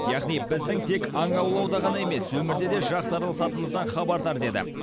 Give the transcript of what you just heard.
яғни біздің тек аң аулауда ғана емес өмірде де жақсы араласатынымыздан хабардар еді